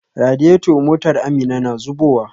Radiator motar Amina na zubowa.